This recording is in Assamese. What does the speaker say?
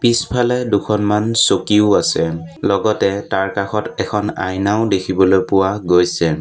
পিছফালে দুখনমান চকীও আছে লগতে তাৰ কাষত এখন আইনাও দেখিবলৈ পোৱা গৈছে।